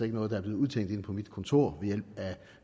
noget der er blevet udtænkt inde på mit kontor ved hjælp af